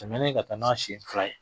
Tɛmɛnen ka taa n'a sen fila ye.